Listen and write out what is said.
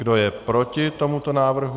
Kdo je proti tomuto návrhu?